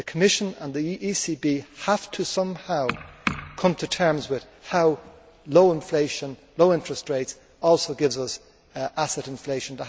The Commission and the ECB have to somehow come to terms with how low inflation and low interest rates also give asset inflation.